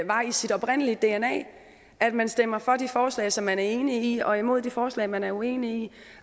var i sit oprindelige dna at man stemmer for de forslag som man er enige i og imod de forslag som man er uenige i